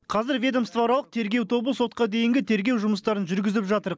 қазір ведомствоаралық тергеу тобы сотқа дейінгі тергеу жұмыстарын жүргізіп жатыр